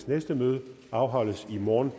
næste møde afholdes i morgen